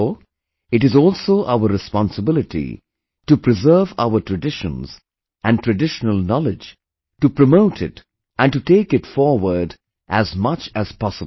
Therefore, it is also our responsibility to preserve our traditions and traditional knowledge, to promote it and to take it forward as much as possible